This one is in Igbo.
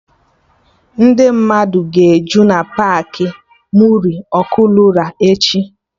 Ndị mmadụ ga-eju na Paakị Muri Ọkụnola echi